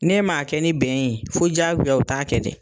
Ne m'a kɛ ni bɛn yen fo diyagoya u t'a kɛ dɛ.